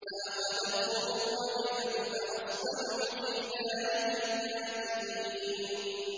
فَأَخَذَتْهُمُ الرَّجْفَةُ فَأَصْبَحُوا فِي دَارِهِمْ جَاثِمِينَ